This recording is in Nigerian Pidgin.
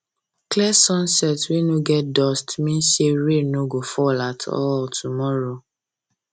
clear sunset wey no get dust mean say rain no go fall at all tomorrow